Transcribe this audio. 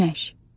Günəş.